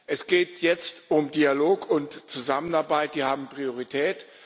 Es geht jetzt um Dialog und Zusammenarbeit, die haben Priorität.